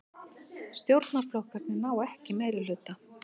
Stjórnarflokkarnir ná ekki meirihluta